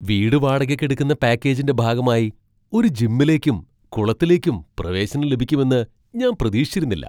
വീട് വാടകയ്ക്കെടുക്കുന്ന പാക്കേജിന്റെ ഭാഗമായി ഒരു ജിമ്മിലേക്കും കുളത്തിലേക്കും പ്രവേശനം ലഭിക്കുമെന്ന് ഞാൻ പ്രതീക്ഷിച്ചിരുന്നില്ല.